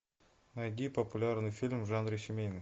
найди популярный фильм в жанре семейный